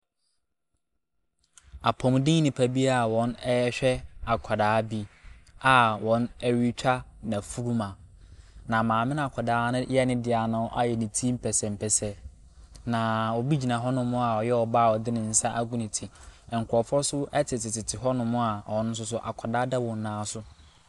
Apɔmuden nnipa bi a wɔn ɛrehwɛ akwadaa bi a wɔretwa ne furuma. Na maame no akwadaa no yɛ ne deɛ no ayɛ ne ti mpɛsɛmpɛsɛ. Na obi gyina hɔnom a ɔyɛ ɔbaa a ɔde ne nsa agu ne ti, na nkurɔfoɔ nso tetetete hɔnom a ɔno nso akwadaa da wɔn nan so.